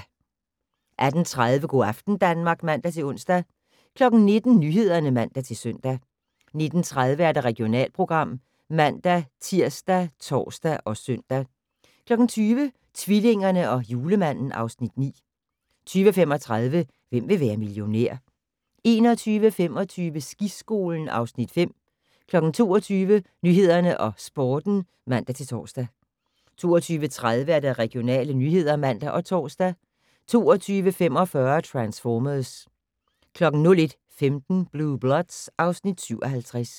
18:30: Go' aften Danmark (man-ons) 19:00: Nyhederne (man-søn) 19:30: Regionalprogram (man-tir og tor-søn) 20:00: Tvillingerne og Julemanden (Afs. 9) 20:35: Hvem vil være millionær? 21:25: Skiskolen (Afs. 5) 22:00: Nyhederne og Sporten (man-tor) 22:30: Regionale nyheder (man og tor) 22:45: Transformers 01:15: Blue Bloods (Afs. 57)